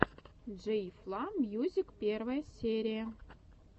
джей фла мьюзик первая серия